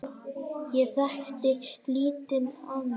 Ég þekkti lítið annað.